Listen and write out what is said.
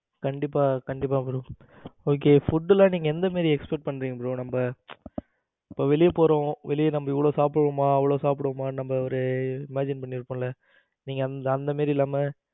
கண்டிப்பா கண்டிப்பா bro okay food எல்லாம் நீங்க எந்த மாதிரி expect பண்றீங்க bro நம்ம இப்ப வெளியே போறோம் வெளிய நம்ம இவ்வளவு சாப்பிடுவோமா அவ்வளவு சாப்பிடுவோமா நம்ம ஒரு imagine பண்ணிருப்போம்ல நீங்க அந்த மாதிரி இல்லாம